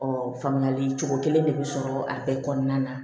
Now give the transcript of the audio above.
faamuyali cogo kelen de bi sɔrɔ a bɛɛ kɔnɔna na